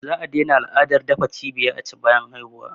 Za a daina al’adar dafa cibiya aci bayan haihuwa